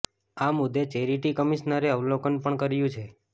આ મુદ્દે ચેરિટી કમિશનરે અવલોકન પણ કર્યું છે